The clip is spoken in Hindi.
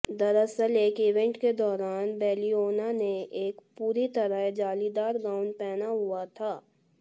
दरअसल एक ईवेंट के दौरान बेलिओना ने एक पूरी तरह जालीदार गाउन पहना हुआ था